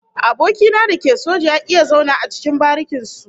Aboki na da ke soja ya ki ya zauna a cikin barikin su